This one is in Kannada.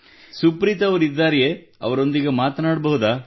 ಸುಪ್ರೀತ್ ಅವರಿದ್ದಾರೆಯೇ ಅವರೊಂದಿಗೆ ಮಾತನಾಡಬಹುದೇ